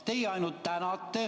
Teie ainult tänate.